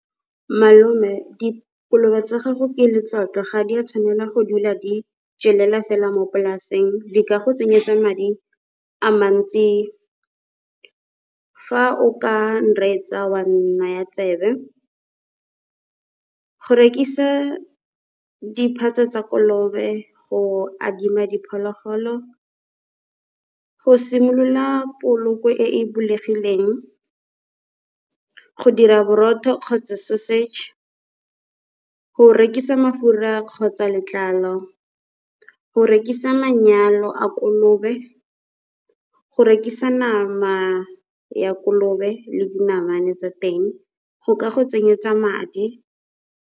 Malome dikolobe tsa gago ke le tlotlo, ga di a tshwanela go dula di jelela fela mo polaseng. Di ka go tsenyetsa madi a mantsi fa o ka nreetsa, oa nnaya tsebe. Go rekisa di phatsa kolobe, go adima diphologolo, go simolola poloko e e bulegileng, go dira borotho kgotsa sausage, go rekisa mafura kgotsa letlalo, go rekisa manyalo a kolobe, go rekisa nama ya kolobe le dinamane tsa teng go ka go tsenyetsa madi.